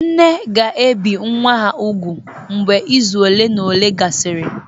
nne ga-ebi nwa ha úgwù mgbe izu ole na ole gasịrị